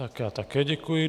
Tak já také děkuji.